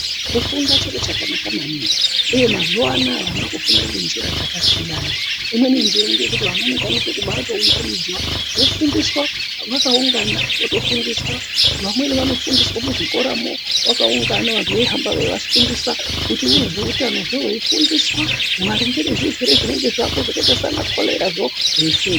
Kufunda chiro chakanaka maningi uye mazuwanaya vana vakufunda ngenjira dzakasiyana imweni njira ngeyekuti vana vanokwanisa kubatounganidzwa vofundiswa vakaungana votofundiswa, vamweni vanofundiswa muzvikoramo vakaungana vantu veihamba veivafundisa votaura zveutanozvo veifundiswa maringe nezvirwere zvinenge zvako zvakaita sana korera veifundiswa.